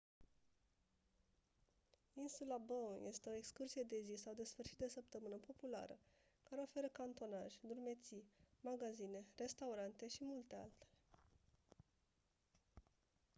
insula bowen este o excursie de zi sau de sfârșit de săptămână populară care oferă canotaj drumeții magazine restaurante și multe altele